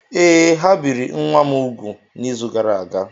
Ee, ha biri nwa m úgwù n’izu gara aga.